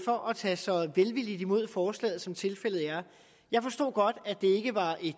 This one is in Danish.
for at tage så velvilligt imod forslaget som tilfældet er jeg forstod godt at